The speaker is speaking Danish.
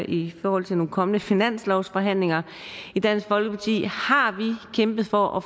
i forhold til nogle kommende finanslovsforhandlinger i dansk folkeparti har vi kæmpet for at